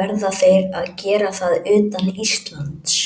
verða þeir að gera það utan Íslands.